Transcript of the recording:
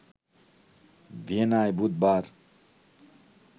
ভিয়েনায় বুধবার